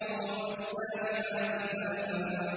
وَالسَّابِحَاتِ سَبْحًا